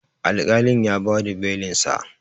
alƙalin ya ba da Belinsa